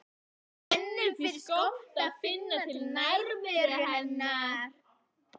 Henni finnst gott að finna til nærveru hennar.